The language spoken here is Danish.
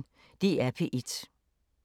DR P1